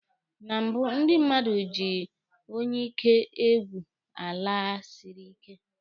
Na mbụ, ndị mmadụ ji onyeike egwu ala siri ike.